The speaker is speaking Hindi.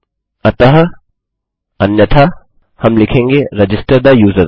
अतः अन्यथा हम लिखेंगे रजिस्टर थे यूजर